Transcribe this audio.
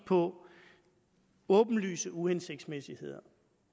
på åbenlyse uhensigtsmæssigheder